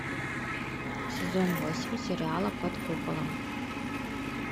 сезон восемь сериала под куполом